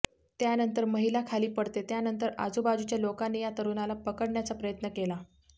त्यानंतर महिला खाली पडते त्यानंतर आजूबाजूच्या लोकांनी या तरुणाला पकडण्याचा प्रयत्न केला